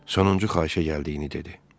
Sonuncu xahişə gəldiyini dedi.